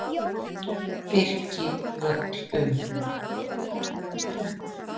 Birkivöllum